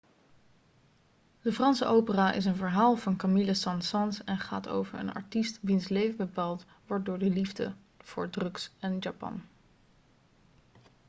de franse opera is een verhaal van camille saint-saens en gaat over een artiest 'wiens leven bepaald wordt door de liefde voor drugs en japan.'